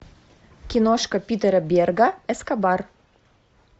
киношка питера берга эскобар